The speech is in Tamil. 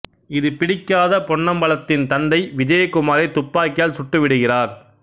இது பிடிக்காத பொன்னம்பலத்தின் தந்தை விஜயகுமாரை துப்பாக்கியால் சுட்டு விடுகிறார்